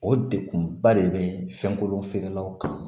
O degun ba de bɛ fɛn kolon feerelaw kan